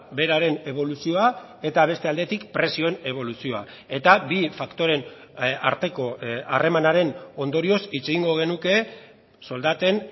beraren eboluzioa eta beste aldetik prezioen eboluzioa eta bi faktoreen arteko harremanaren ondorioz hitz egingo genuke soldaten